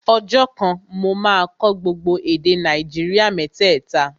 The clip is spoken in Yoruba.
Ọjọ́ kan, mo máa kọ́ gbogbo èdè Nàìjíríà mẹ́tẹ̀ta